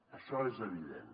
això és evident